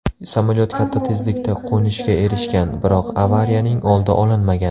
Samolyot katta tezlikda qo‘nishga erishgan, biroq avariyaning oldi olinmagan.